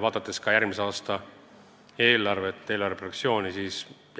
Vaadates järgmise aasta eelarvet, arvan